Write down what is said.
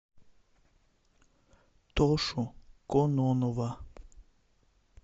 тошу кононова